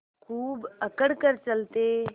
खूब अकड़ कर चलते